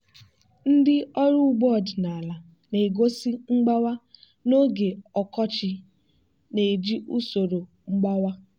ndị ọrụ ugbo ọdịnala na-egosi mgbawa n'oge ọkọchị na-eji usoro mgbawa.